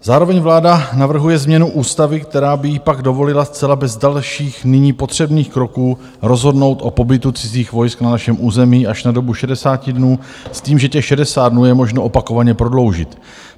Zároveň vláda navrhuje změnu ústavy, která by jí pak dovolila zcela bez dalších nyní potřebných kroků rozhodnout o pobytu cizích vojsk na našem území až na dobu 60 dnů s tím, že těch 60 dnů je možno opakovaně prodloužit.